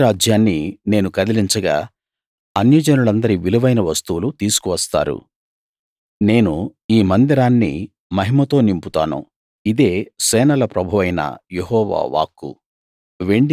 ప్రతి రాజ్యాన్నీ నేను కదిలించగా అన్యజనులందరి విలువైన వస్తువులు తీసుకు వస్తారు నేను ఈ మందిరాన్ని మహిమతో నింపుతాను ఇదే సేనల ప్రభువైన యెహోవా వాక్కు